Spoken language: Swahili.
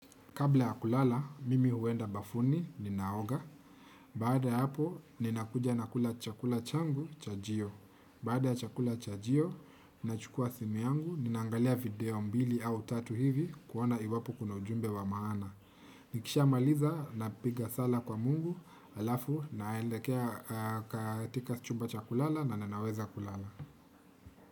Kabla ya kulala, mimi huenda bafuni, ninaoga. Baada hapo, ninakuja na kula chakula changu, cha jio. Baada ya chakula cha jio, nina chukua simi yangu, ninangalia video mbili au tatu hivi kuona iwapo kuna ujumbe wa maana. Nikisha maliza, napiga sala kwa mungu, alafu, naelekea katika chumba cha kulala na nanaweza kulala.